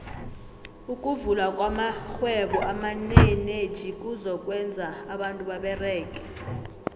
ukuvula kwamaxhhwebo amaneneji kuzo kwenza abantu baberege